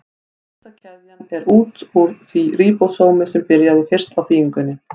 Lengsta keðjan er út úr því ríbósómi sem byrjaði fyrst á þýðingunni.